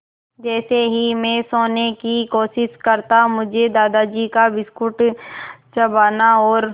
जैसे ही मैं सोने की कोशिश करता मुझे दादाजी का बिस्कुट चबाना और